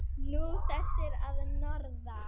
Nú, þessir að norðan.